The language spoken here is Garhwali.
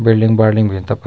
बिल्डिंग बाल्डिंग भीन तफर।